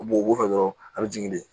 U b'o wusu dɔrɔn a bɛ jigin de